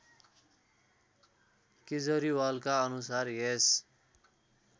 केजरीवालका अनुसार यस